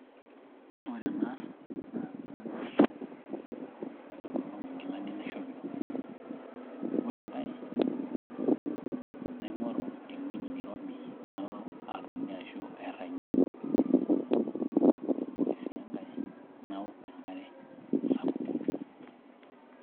ore ena naa, kadolita ajo katang'asa aitolong' inkilani naishopito. ore enkae naing'oru ewueji nairobi nalo atonie ashu airagie. ore sii enkae naok enkare sapuk.